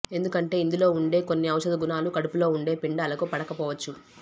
ఎందుకంటే ఇందులో ఉండే కొన్ని ఔషధ గుణాలు కడుపులో ఉండే పిండాలకు పడకపోవచ్చు